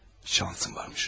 Şansım varmış.